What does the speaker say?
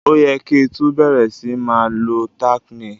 O ye ki tun bẹ̀rẹ̀ si ma lo tack nail